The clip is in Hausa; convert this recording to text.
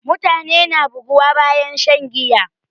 Mutane na buguwa bayan shan giya